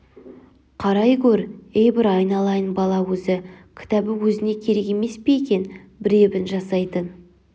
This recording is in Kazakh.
қарай гөр ей бір айналайын бала өзі кітабы өзіне керек емес пе екен бір ебін жасайтын